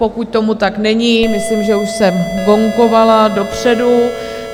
Pokud tomu tak není, myslím, že už jsem gongovala dopředu.